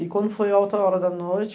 E quando foi a outra hora da noite...